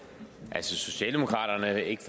at socialdemokratiet ikke